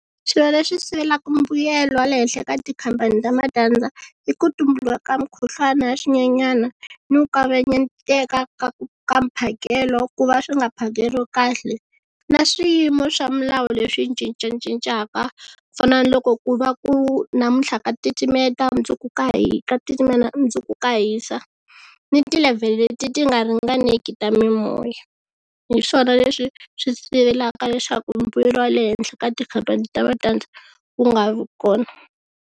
Swilo leswi sivelaka mbuyelo wa le henhla eka tikhampani ta matandza i ku tumbuluka ka mukhuhlwana ya swinyenyana ni ku kavanyeteka ka ku ka mphakelo ku va swi nga phakeriwi kahle na swiyimo swa milawu leswi cincacincaka ku fana na loko ku va ku namuntlha ka titimeta, mundzuku ka hi ka mundzuku ka hisa ni ti-level-i leti ti nga ringaneki ta mimoya. Hi swona leswi swi sivelaka leswaku mbuyelo wa le henhla ka tikhampani ta matandza wu nga vi kona.